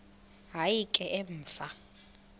hayi ke emva